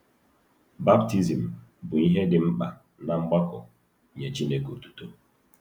Baptizim bụ ihe dị mkpa ná mgbakọ “Nye Chineke Otuto.”